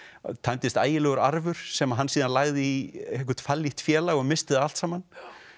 að tæmdist ægilegur arfur sem hann síðan lagði í eitthvert félag og missti það allt saman